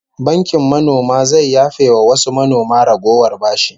Bankin manoma zai yafe wa wasu manoma ragowar bashi